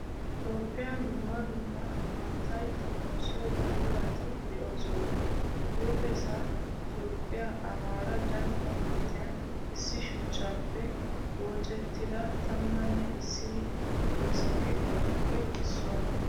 Toophphiyaan dumma dumma immatay xommoosiyo buqurati de'oosona. Huuphphessa Toophphiyaa amaara dalgga manttiyan issi shuchchappe woocettida tamaane issinni woosaa keettatuppe issuwaa.